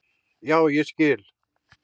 Já, ég skil